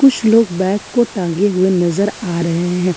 कुछ समय बैग को टांगे हुए नज़र आ रहे हैं।